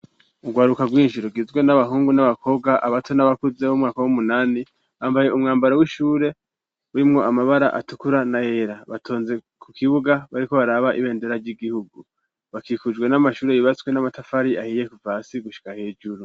Ugwaruka gwinshi rugizwe n'abahungu n'abakobwa ,abato n'abakuze ,b'umwaka w'umunani bambaye umwambaro w'ishure ,urimwo amabara atukura ,na yera, batonze ku kibuga bariko baraba ibendera ry'igihugu bakikujwe n'amashure yubatswe n'Amatafari ahiye, kuvasi gushika hejuru.